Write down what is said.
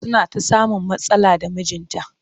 Suna ta samun matsala da mijinta